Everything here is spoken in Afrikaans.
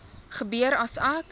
gebeur as ek